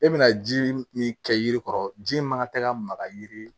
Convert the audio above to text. E bɛna ji min kɛ yiri kɔrɔ ji in man ka tɛgɛ ka maga yiri